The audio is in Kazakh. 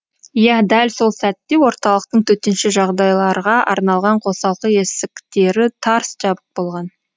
иә дәл сол сәтте орталықтың төтенше жағдайларға арналған қосалқы есіктері тарс жабық болған